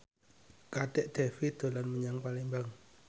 Kadek Devi dolan menyang Palembang